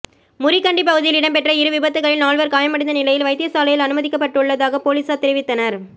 முறிகண்டி பகுதியில் இடம்பெற்ற இரு விபத்துக்களில் நால்வர் காயமடைந்த நிலையில் வைத்தியசாலையில் அனுமதிக்கப்பட்டுள்ளதாக பொலிஸார் தெரிவித்தனர்